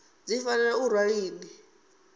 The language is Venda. dzi fanela u farwa lini